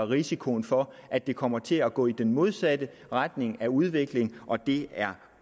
risikoen for at det kommer til at gå i den modsatte retning af udvikling og det er